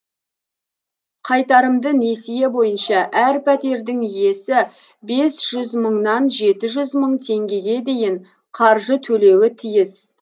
қайтарымды несие бойынша әр пәтердің иесі бес жүз мыңнан жеті жүз мың теңгеге дейін қаржы төлеуі тиіс